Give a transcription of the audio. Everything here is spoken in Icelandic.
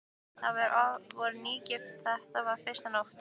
Þau voru nýgift og þetta var fyrsta nóttin.